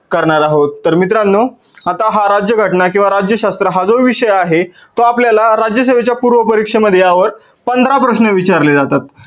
करणार आहोत. तर मित्रांनो, आता हा राज्यघटना किंवा राज्यशास्त्र हा जो विषय आहे तर आपल्याला राज्यासेवेच्या पूर्व परीक्षेमध्ये या वर पंधरा प्रश्न विचारले जातात.